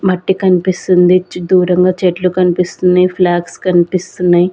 మట్టి కనిపిస్తుంది దూరంగా చెట్లు కనిపిస్తుంది ఫ్లాగ్స్ కనిపిస్తున్నాయి.